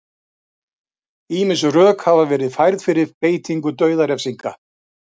ýmis rök hafa verið færð fyrir beitingu dauðarefsinga